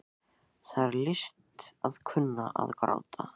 Það er list að kunna að gráta.